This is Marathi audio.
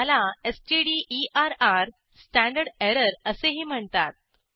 ह्याला stderrस्टँडर्ड एररअसेही म्हणतात